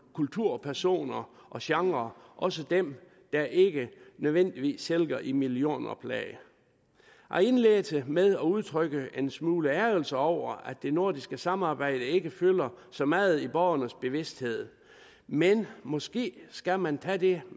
kulturpersoner og genrer også dem der ikke nødvendigvis sælger i millionoplag jeg indledte med at udtrykke en smule ærgrelse over at det nordiske samarbejde ikke fylder så meget i borgernes bevidsthed men måske skal man tage det